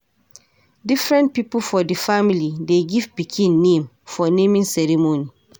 Different pipo for di family dey give pikin name for naming ceremony.